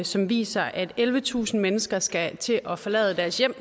som viser at ellevetusind mennesker skal til at forlade deres hjem